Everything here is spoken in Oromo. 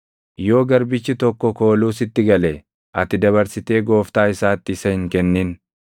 Yoo garbichi tokko kooluu sitti gale, ati dabarsitee gooftaa isaatti isa hin kennin.